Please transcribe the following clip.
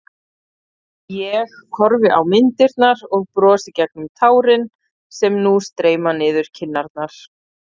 Ég horfi á myndirnar og brosi gegnum tárin sem nú streyma niður kinnarnar.